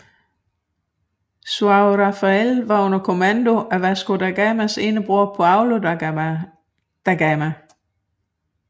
São Rafael var under kommando af Vasco da Gamas ene bror Paulo da Gama